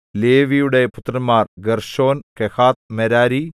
ലേവിയുടെ പുത്രന്മാർ Gershon Kohath Merari